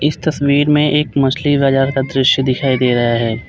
इस तस्वीर में एक मछली बाजार का दृश्य दिखाई दे रहा है।